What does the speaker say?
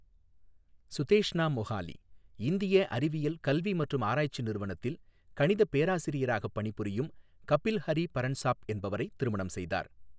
சுதேஷ்னா மொஹாலி இந்திய அறிவியல் கல்வி மற்றும் ஆராய்ச்சி நிறுவனத்தில் கணித பேராசிரியராக பணிபுரியும் கபில் ஹரி பரன்சாப் என்பவரை திருமணம் செய்தார்.